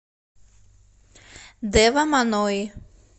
дэва манои